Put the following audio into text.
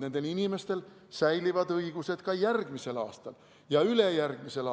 Nendel inimestel säilib ka järgmisel ja ülejärgmisel